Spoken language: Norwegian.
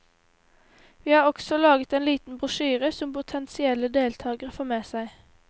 Vi har også laget en liten brosjyre som potensielle deltakere får med seg.